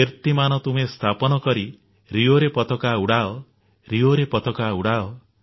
କିର୍ତ୍ତିମାନ ତୁମେ ସ୍ଥାପନ କରି ରିଓରେ ପତାକା ଉଡାଅ